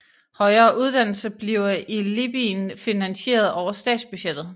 Højere uddannelse bliver i Libyen finansieret over statsbudgettet